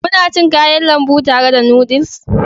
Kuna cin Kayan lambu tare da noodles?